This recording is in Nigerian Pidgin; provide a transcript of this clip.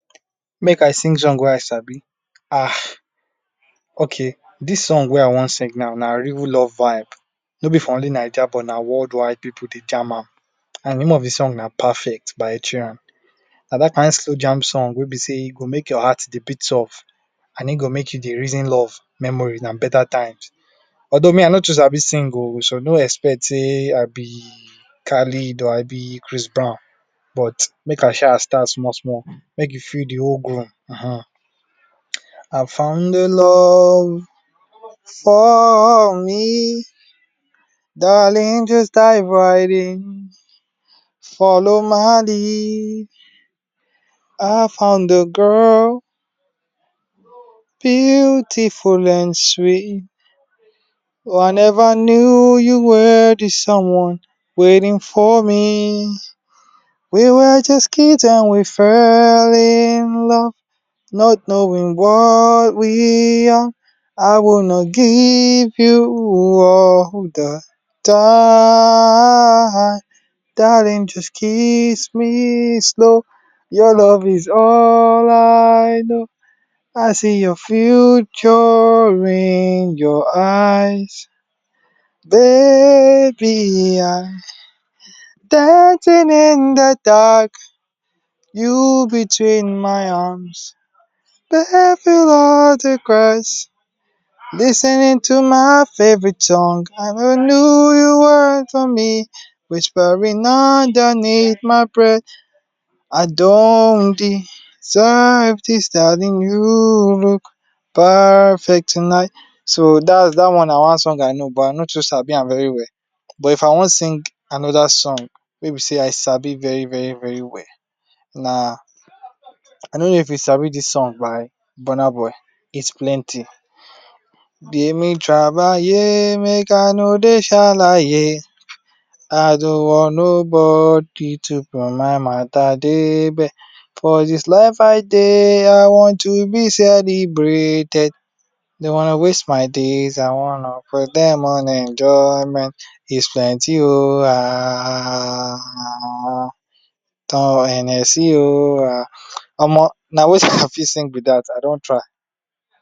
Mek I sing song wey I sabi um okay dis song wey I wan sing now na real love vibe no be for only Naija but na world wide pipu Dey jam am de name of de song na perfect by ed Sheeran na dat kain slow jam song wey be sey e go make your heart a bit soft and I’m go make you Dey reason love, memories and betta times although me I no too sabi sing ooo so no expect sey I be Khalid or I be Chris brown but make I shaa start small small make you feel de whole I found de love for me darling just dive right in follow my lead I found a girl beautiful and sweet oh I never knew you were di someone waiting for me we were just kids when we fell in love not knowing what we have I will not give you up all di time darling just kiss me slow your love is all I know I see your future in your eyes baby I dancing in de dark you between my arms, dancing on di grass lis ten ing to my favorite song I never knew you’re whispering underneath my breath I don’t deserve this darling you look perfect tonight so dat one na one song I know but I no too sabi am very well but I wan sing another song wey be set I sabi well well na I don’t know if you sabi this song by burna boy it’s plenty Dey we trabaye we shaleye make I no Dey shalaye I don’t want nobody to put my matter k leg for dia life I Dey I want to be celebrated I don’t wanna waste my days I wanna spend dem on enjoyment is plenty ooo aaaaahhhhh Hennessy oo ahhhh omo na wetin I fit sing be dat I don try